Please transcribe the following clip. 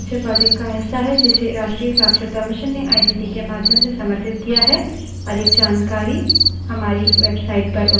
spoken tutorials talk to a teacher project का हिस्सा है जिसे राष्ट्रीय शिक्षा mission ने आईसीटी के माध्यम से समर्थित किया है